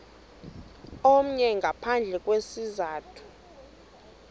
omnye ngaphandle kwesizathu